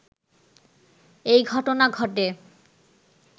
এই ঘটনা ঘটে